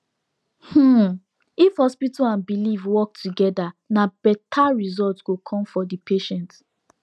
hmm if hospital and belief work together na better result go come for the patient